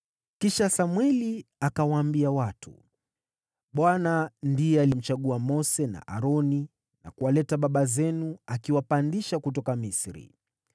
Kisha Samweli akawaambia watu, “ Bwana ndiye alimchagua Mose na Aroni, na kuwaleta baba zenu akiwapandisha kutoka Misri.